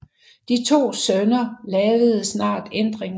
De to sønner lavede snart ændringer